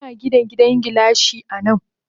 Muna Gina gidan gilashi anan.